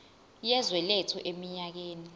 yezwe lethu eminyakeni